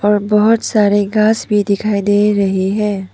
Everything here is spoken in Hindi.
और बहोत सारे घास भी दिखाई दे रही है।